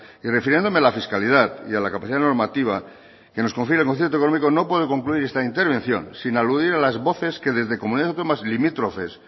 y refiriéndome a la fiscalidad y a la capacidad normativa que nos confiere el concierto económico no puedo concluir esta intervención sin aludir a las voces que desde comunidades autónomas limítrofes